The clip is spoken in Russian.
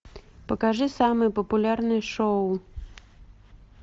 покажи самые популярные шоу